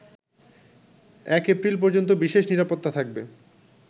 ১ April পর্যন্ত বিশেষ নিরাপত্তা থাকবে